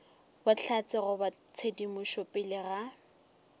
bohlatse goba tshedimošo pele ga